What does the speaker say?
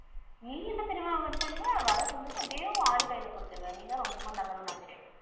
நீ என்ன தெரியுமா பண்ணுவ வர்ற சம்பளத்தை அப்படியே உன் ஆளு கையில கொடுத்திருவ. நீதான் ரொம்ப நல்லவனாச்சே.